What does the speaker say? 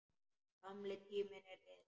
Gamli tíminn er liðinn.